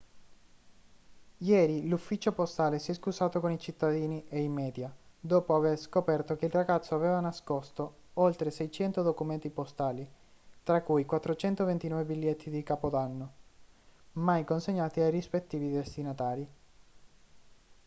ieri l'ufficio postale si è scusato con i cittadini e i media dopo aver scoperto che il ragazzo aveva nascosto oltre 600 documenti postali tra cui 429 biglietti di capodanno mai consegnati ai rispettivi destinatari